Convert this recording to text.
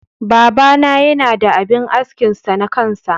Baba na Yana da abin askin sa na kansa.